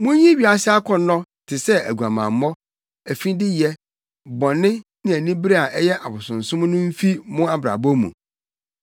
Munyi wiase akɔnnɔ te sɛ aguamammɔ, afideyɛ, bɔne, ne anibere a ɛyɛ abosonsom no mfi mo abrabɔ mu.